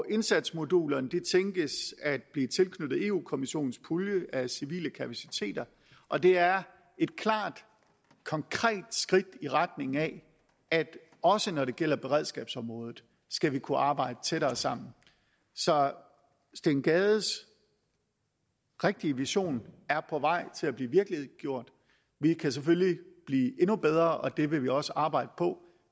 indsatsmodulerne tænkes at blive tilknyttet europa kommissionens pulje af civile kapaciteter og det er et klart konkret skridt i retning af at også når det gælder beredskabsområdet skal vi kunne arbejde tættere sammen så herre steen gades rigtige vision er på vej til at blive virkeliggjort vi kan selvfølgelig blive endnu bedre og det vil vi også arbejde på